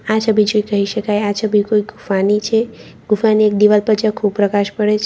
આ છબી જોઈ કહી શકાય કે આ છબી કોઈ ગુફાની છે ગુફાની એક દિવાલ પર ઝાંખો પ્રકાશ પડે છે.